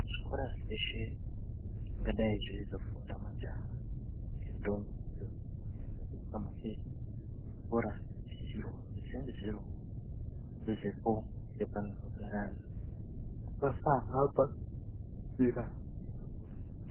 Zvikora zveshe zvingadai zveizifunda majaha ngendombi idzo dzinonga dzapedza mufe zvikora zvinosisirwa kuzi zvinge zvirivo padhuzepo ngepanozogara ana. Kuti vasahamba njira dzakakura.